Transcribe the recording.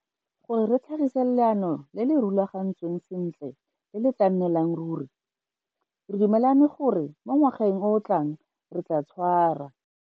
Gore re tlhagise leano le le rulagantsweng sentle le le tla nnelang ruri, re dumelane gore mo ngwageng o o tlang re tla tshwara.